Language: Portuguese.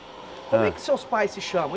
Hã Como é que seus pais se chamam hein?